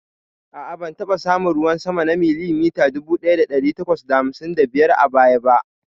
A'a, ban taɓa samun ruwan sama na milimita dubu ɗaya ɗari takwas da hamsin da biyar a baya ba.